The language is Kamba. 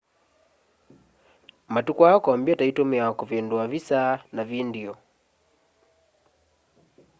matuku aa kompyuta itumiawa kuvindua visa na vindio